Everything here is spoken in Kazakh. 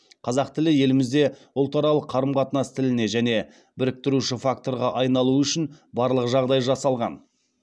қазақ тілі елімізде ұлтаралық қарым қатынас тіліне және біріктіруші факторға айналуы үшін барлық жағдай жасалған